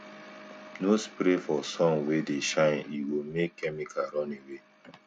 no spray for sun wey dey shine e go make chemical run away